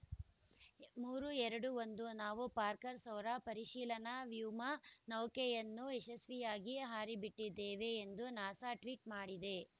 ಮೂರು ಎರಡು ಒಂದು ನಾವು ಪಾರ್ಕರ್‌ ಸೌರ ಪರಿಶೀಲನಾ ವ್ಯೋಮ ನೌಕೆಯನ್ನು ಯಶಸ್ವಿಯಾಗಿ ಹಾರಿಬಿಟ್ಟಿದ್ದೇವೆ ಎಂದು ನಾಸಾ ಟ್ವೀಟ್‌ ಮಾಡಿದೆ